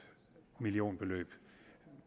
millionbeløb